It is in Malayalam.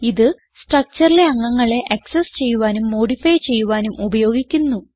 ഇത് structureലെ അംഗങ്ങളെ ആക്സസ് ചെയ്യുവാനും മോഡിഫൈ ചെയ്യുവാനും ഉപയോഗിക്കുന്നു